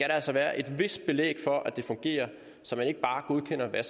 altså være et vist belæg for at det fungerer så man ikke bare godkender hvad